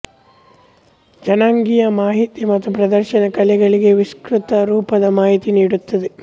ಜನಾಂಗೀಯ ಮಾಹಿತಿ ಮತ್ತು ಪ್ರದರ್ಶನಾ ಕಲೆಗಳಿಗೆ ವಿಸ್ತೃತ ರೂಪದ ಮಾಹಿತಿ ನೀಡುತ್ತದೆ